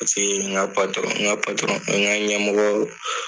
ɲɛmɔgɔw